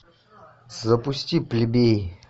запусти плебеи